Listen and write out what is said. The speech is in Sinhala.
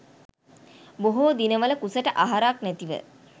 බොහෝ දිනවල කුසට අහරක් නැතිව